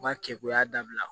U ka kɛ u y'a dabila